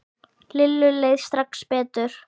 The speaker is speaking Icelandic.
Lillu leið strax betur.